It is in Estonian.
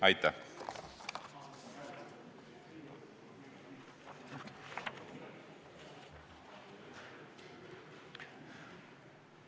Aitäh!